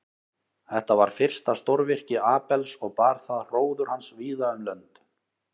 Þetta var fyrsta stórvirki Abels og bar það hróður hans víða um lönd.